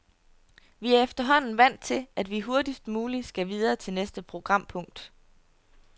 Vi er efterhånden vant til, at vi hurtigst muligt skal videre til næste programpunkt.